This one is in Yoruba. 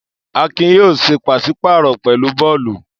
Akin yóò ṣe pàṣí-pààrọ̀ pẹ̀lú Bólú.